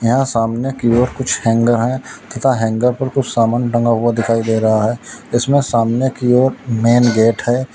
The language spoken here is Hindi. यहां सामने की ओर कुछ हैंगर है तथा हैंगर पर कुछ सामान बना हुआ दिखाई दे रहा है इसमें सामने की ओर मेन गेट हैं।